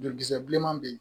Jolikisɛ bileman bɛ yen